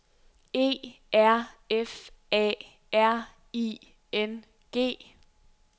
E R F A R I N G